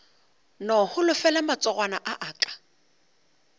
no holofela matsogwana a aka